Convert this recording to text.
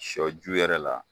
Shɔ ju yɛrɛ la.